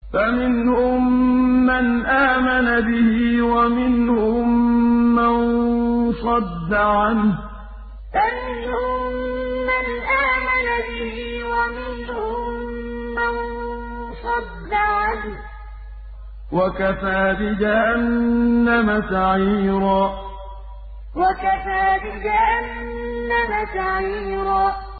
فَمِنْهُم مَّنْ آمَنَ بِهِ وَمِنْهُم مَّن صَدَّ عَنْهُ ۚ وَكَفَىٰ بِجَهَنَّمَ سَعِيرًا فَمِنْهُم مَّنْ آمَنَ بِهِ وَمِنْهُم مَّن صَدَّ عَنْهُ ۚ وَكَفَىٰ بِجَهَنَّمَ سَعِيرًا